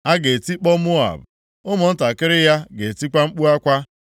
A ga-etikpọ Moab, ụmụntakịrị ya ga-etikwa mkpu akwa.